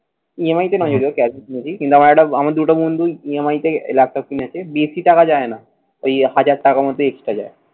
EMI না গেলেও cash book নিবি। কিংবা আমার একটা আমার দুটো বন্ধুই EMI তে আহ ল্যাপটপ কিনেছে। বেশি টাকা যায় না। ওই এক হাজার টাকার মত extra যায়।